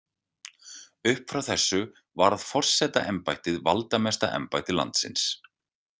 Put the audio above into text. Upp frá þessu varð forsetaembættið valdamesta embætti landsins.